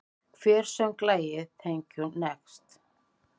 Hver söng lagið Thank you, next?